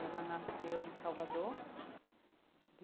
Ela nasceu em Salvador.